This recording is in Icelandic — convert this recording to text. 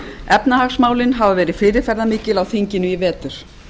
efnahagsmálin hafa verið fyrirferðarmikil á þinginu í vetur